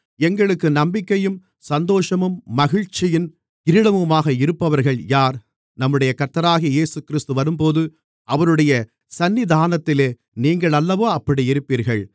எங்களுக்கு நம்பிக்கையும் சந்தோஷமும் மகிழ்ச்சியின் கிரீடமுமாக இருப்பவர்கள் யார் நம்முடைய கர்த்தராகிய இயேசுகிறிஸ்து வரும்போது அவருடைய சந்நிதானத்திலே நீங்களல்லவா அப்படியிருப்பீர்கள்